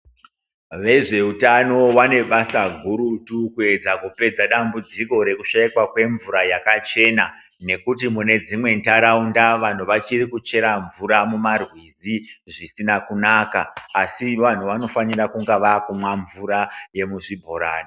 Vezvehutano vane basa gurutu kupedza kupedza dambudziko rekushaikwa kwemvura yakachena nekuti mune dzimwe ndaraunda vachiri kuchera mvura mumarwizi zvisina kunaka asi vantu vanofanira vakumwa mvura yemuzvibhorani.